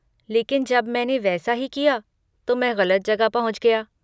लेकिन जब मैंने वैसा ही किया तो मैं गलत जगह पहुंच गया।